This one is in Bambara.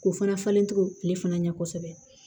K'o fana falen to ale fana ɲɛ kosɛbɛ